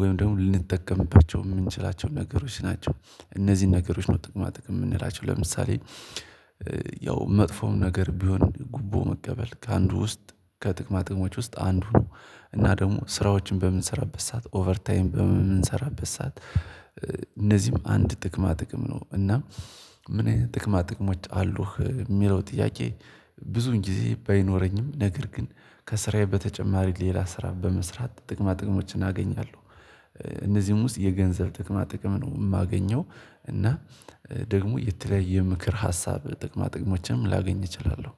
ወይም ደግሞ ልንጠቀምባቸው የምንችላቸው ነገሮች ናቸው። እነዚህን ነገሮች ነው ጥቅማ ጥቅም የምንላቸው ለምሳሌ ያው መጥፎም ነገር ቢሆን ጉቦ መቀበል ከአንዱ ውስጥ ከጥቅማ ጥቅሞች ውስጥ አንዱ ነው። እና ደግሞ ስራዎችን በምንሰራበት ሰዓት ኦቨር ታይም በምንሰራበት ሰዓት እነዚህም አንድ ጥቅማ ጥቅም ነው። እና ምን ጥቅማ ጥቅሞች አሉህ የሚለው ጥያቄ? ብዙውን ጊዜ ባይኖረኝም ነገር ግን ከስራዬ በተጨማሪ ሌላ ስራ በመስራት ጥቅማ ጥቅሞችን አገኛለሁ። እነዚህም ውስጥ የገንዘብ ጥቅማ ጥቅም ነው የማገኘው። እና ደግሞ የተለያየ ምክር ሀሳብ ጥቅማ ጥቅሞችንም ላገኝ እችላለሁ